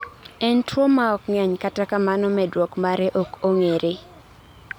en tuwo maok ng'eny, kata kamano medruok mare ok ong'ere